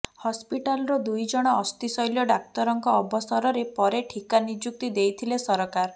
ହସ୍ପିଟାଲ୍ର ଦୁଇ ଜଣ ଅସ୍ଥିଶଲ୍ୟ ଡାକ୍ତରଙ୍କ ଅବସରରେ ପରେ ଠିକା ନିଯୁକ୍ତି ଦେଇଥିଲେ ସରକାର